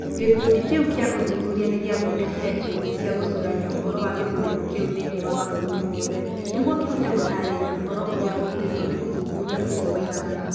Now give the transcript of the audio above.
Gĩkundi kĩu kĩa ũthuthuria nĩ gĩathondekire ikundi cia gũcũrania ũhoro wa gĩthurano kĩu thĩinĩ wa mabũrũri mothe nĩguo kĩhote gũtaarĩria ũrĩa ũhoro ũrĩa ũrutĩtwo nĩ ũthuthuria ũcio waiganaga.